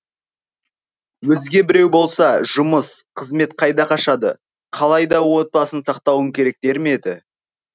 өзге біреу болса жұмыс қызмет қайда қашады қалайда отбасын сақтауың керек дер ме еді